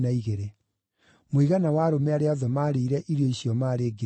Mũigana wa arũme arĩa othe maarĩire irio icio maarĩ ngiri ithano.